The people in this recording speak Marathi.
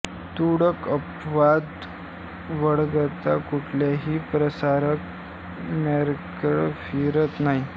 तुरळक अपवाद वगळता कुठल्याही प्रसंगात कॅमेरा फिरत नाही